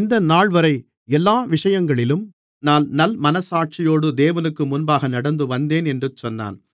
இந்தநாள்வரை எல்லா விஷயங்களிலும் நான் நல்மனச்சாட்சியோடு தேவனுக்குமுன்பாக நடந்துவந்தேன் என்று சொன்னான்